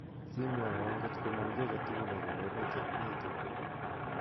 Simwowo ngot komong kiy aketugul akobo metit nito